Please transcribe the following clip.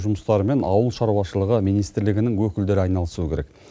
жұмыстарымен ауыл шаруашылығы министрлігінің өкілдері айналысуы керек